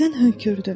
Birdən hönkürdü.